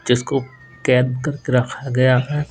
जिसको कैद कर के रखा गया है।